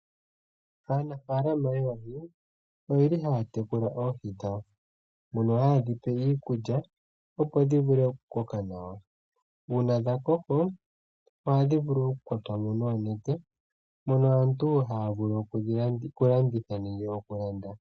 Aanafaalama yoohi ohaya tekula oohi dhawo mono haye dhipe iikulya opo dhi vule okukoka nawa. Uuna dhakoko ohadhi vulu okukwatwa mo noonete opo aantu yavule okulanditha nenge okulanda.